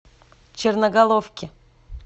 черноголовке